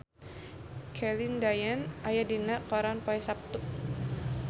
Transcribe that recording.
Celine Dion aya dina koran poe Saptu